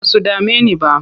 Ba su dame ni ba.